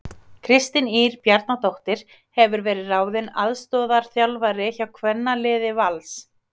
Kristín Ýr Bjarnadóttir hefur verið ráðin aðstoðarþjálfari hjá kvennaliði Vals.